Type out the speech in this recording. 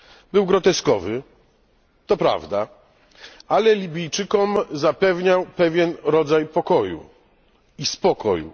Był groteskowy, to prawda, ale Libijczykom zapewniał pewien rodzaj pokoju i spokoju.